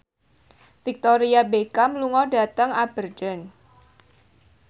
Victoria Beckham lunga dhateng Aberdeen